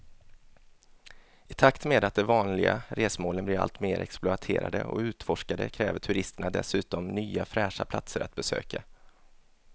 I takt med att de vanliga resmålen blir allt mer exploaterade och utforskade kräver turisterna dessutom nya fräscha platser att besöka.